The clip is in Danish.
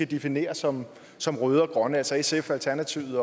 definere som som røde og grønne altså sf alternativet